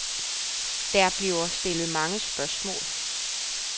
Der bliver stillet mange spørgsmål.